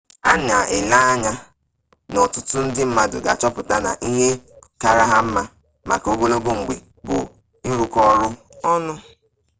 a na-ele anya na ọtụtụ ndị mmadụ ga-achọpụta na ihe kaara ha mma maka ogologo mgbe bụ ịrụkọ ọrụ ọnụ